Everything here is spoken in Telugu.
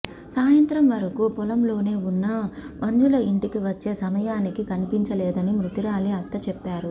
సాయంత్రం వరకు పొలంలోనే ఉన్న మంజుల ఇంటికి వచ్చే సమయానికి కనిపించలేదని మృతురాలి అత్త చెప్పారు